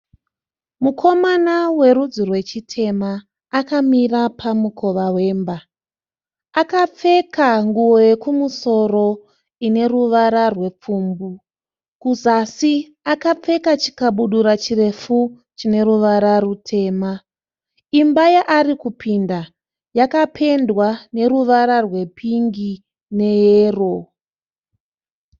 Mukomana werudzi rwechitema. Akamira pamukova wemba. Akapfeka nguvo yekumusoro ine ruvara rwepfumbu. Kuzasi akapfeka chikabudura chirefu chine ruvara rutema. Imba yaari kupinda yakapendwa neruvara rwepingi neyero.